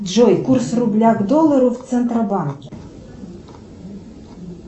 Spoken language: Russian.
джой курс рубля к доллару в центробанке